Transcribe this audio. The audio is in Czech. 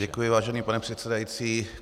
Děkuji, vážený pane předsedající.